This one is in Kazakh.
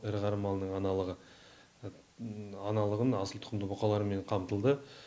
ірі қара малының аналығы аналығын асыл тұқымды бұқалармен қамтылды